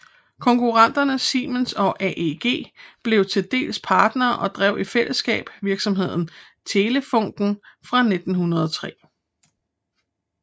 Konkurrenterne Siemens og AEG blev til dels partnere og drev i fællesskab virksomheden Telefunken fra 1903